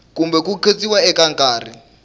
kumbe ku khotsiwa eka nkarhi